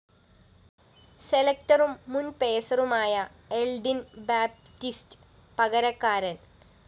സെലക്ടറും മുന്‍ പേസറുമായ Eldine‍ Baptiste പകരക്കാരന്‍